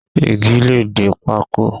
Igi le di pákó.